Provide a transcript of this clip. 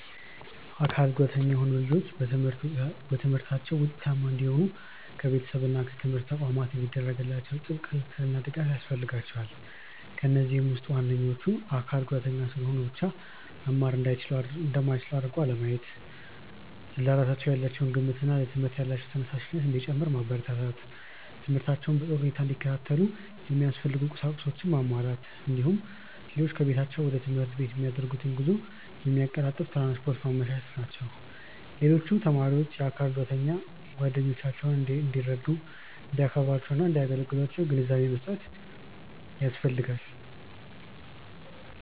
የአካል ጉዳተኛ የሆኑ ልጆች በትምህርታቸው ውጤታማ እንዲሆኑ ከቤተሰብ እና ከትምህርት ተቋማት የሚደረግላቸው ጥብቅ ክትትልና ድጋፍ ያስፈልጋቸዋል። ከነዚህም ውስጥ ዋነኞቹ:- አካል ጉዳተኛ ስለሆኑ ብቻ መማር እንደማይችሉ አድርጎ አለማየት፣ ለራሳቸው ያላቸው ግምትና ለትምህርት ያላቸው ተነሳሽነት እንዲጨምር ማበረታታት፣ ትምህርታቸውን በጥሩ ሁኔታ እንዲከታተሉ የሚያስፈልጉ ቁሳቁሶችን ማሟላት፣ እንዲሁም ልጆቹ ከቤታቸው ወደ ትምህርት ቤት የሚያደርጉትን ጉዞ የሚያቀላጥፍ ትራንስፖርት ማመቻቸት ናቸው። ሌሎች ተማሪዎችም የአካል ጉዳተኛ ጓደኞቻቸውን እንዲረዱ፣ እንዲያከብሯቸውና እንዳያገሏቸው ግንዛቤ መስጠት ያስፈልጋል።